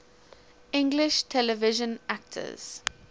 english television actors